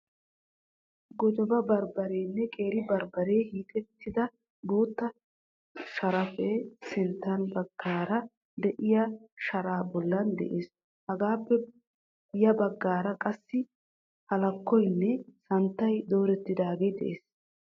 Gojoba bambbareenne qeeri bambaree hiixettida bootta sharaappe sintta baggaara de"iyaa sharaa bollan de'ees. Hegaappe ya baggaara qassi halakkoynne santtay doorettidaagee de'ees.